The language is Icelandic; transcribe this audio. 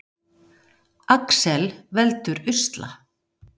Alex veldur usla